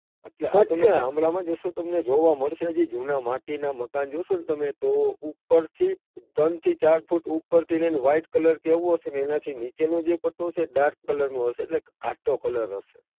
અચ્છા ગામડામાં જશો તો તમને જોવા મળશે, હજી જુના માટીના મકાનો જોશોન તમે તો ઉપરથી ત્રણ થી ચાર ફુટ ઉપરથી લઈને white colour હશે એના થી નીચેનો પટ્ટો હશે તે dark colour નો હશે. એટલે ઘાટો colour હશે.